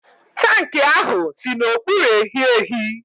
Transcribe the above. tankị ahụ si n'okpuru ehiehi